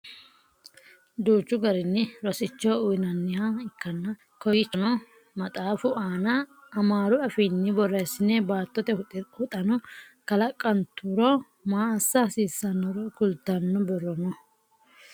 Duuchu garinni rosicho uyiinanniha ikkann kowiichono maxaafu aana amaaru afiinni borreessine baattote huxano kalaqanturo maa assa hasiissannoro kultnno borro no